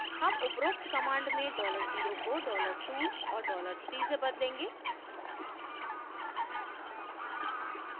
हम उपरोक्त command में $0 को $2 और $3 से बदलेंगे